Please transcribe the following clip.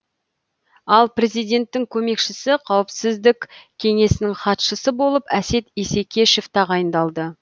ал президенттің көмекшісі қауіпсіздік кеңесінің хатшысы болып әсет исекешев тағайындалды